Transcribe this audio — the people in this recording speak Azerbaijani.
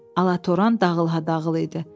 Alatoran dağılha-dağıl idi.